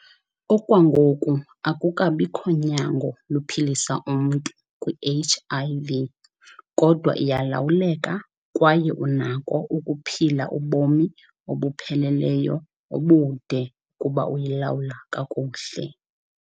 Okwangoku akukabikho nyango luphilisa umntu kwiHIV, kodwa iyalawuleka kwaye unako ukuphila ubomi obupheleleyo obude ukuba uyilawula kakuhle.